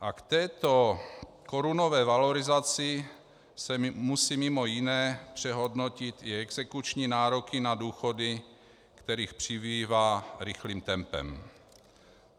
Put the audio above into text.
A k této korunové valorizaci se musí mimo jiné přehodnotit i exekuční nároky na důchody, kterých přibývá rychlým tempem.